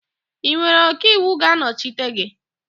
Ị nwere ọkaiwu ga-anọchite gị?